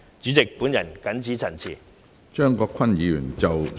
主席，本人謹此陳辭。